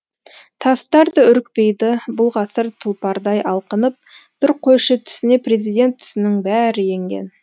тастар да үрікпейді бұл ғасыр тұлпардай алқынып бір қойшы түсіне президент түсінің бәрі енген